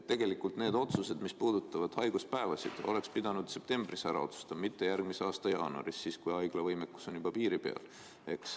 Tegelikult need otsused, mis puudutavad haiguspäevasid, oleks pidanud septembris ära tegema, mitte alustama järgmise aasta jaanuarist, kui haiglate võimekus on juba piiri peal.